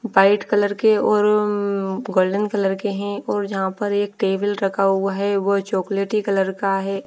White colour के और ऊंऊं गोल्डन कलर के हैं और जहां पर टेबिल रखा हुआ है वो चॉकलेटी कलर का है।